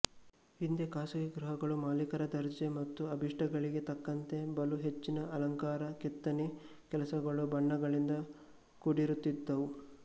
ಹಿಂದೆ ಖಾಸಗಿ ಗೃಹಗಳು ಮಾಲೀಕರ ದರ್ಜೆ ಮತ್ತು ಅಭೀಷ್ಟಗಳಿಗೆ ತಕ್ಕಂತೆ ಬಲು ಹೆಚ್ಚಿನ ಅಲಂಕಾರ ಕೆತ್ತನೆ ಕೆಲಸಗಳು ಬಣ್ಣಗಳಿಂದ ಕೂಡಿರುತ್ತಿದ್ದುವು